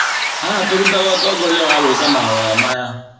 Haha tũrutaga ũtongoria wa gwĩka mahoya maya,